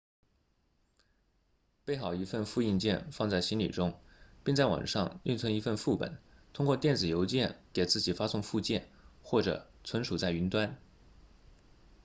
备好一份复印件放在行李中并在网上另存一份副本通过电子邮件给自己发送附件或者存储在云端